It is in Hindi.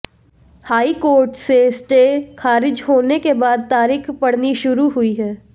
हाईकोर्ट से स्टे खारिज होने के बाद तारीख पड़नी शुरू हुई है